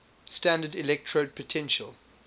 standard electrode potential